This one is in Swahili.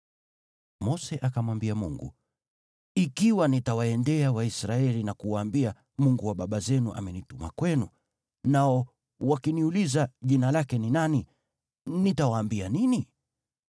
Mose akamwambia Mungu, “Ikiwa nitawaendea Waisraeli na kuwaambia, ‘Mungu wa baba zenu amenituma kwenu,’ nao wakiniuliza, ‘Jina lake ni nani?’ Nitawaambia nini?”